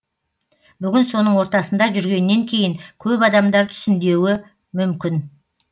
бүгін соның ортасында жүргеннен кейін көп адамдар түсіндеуі мүмкін